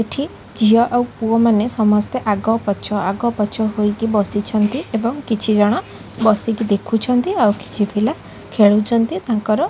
ଏଠି ଝିଅ ଆଉ ପୁଅମାନେ ସମସ୍ତେ ଆଗପଛ ଆଗପଛ ହୋଇକି ବସିଛନ୍ତି ଏବଂ କିଛି ଜଣ ବସିକି ଦେଖୁଛନ୍ତି ଆଉ କିଛି ପିଲା ଖେଳୁଚନ୍ତି ତାଙ୍କର--